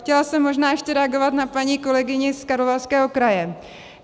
Chtěla jsem možná ještě reagovat na paní kolegyni z Karlovarského kraje.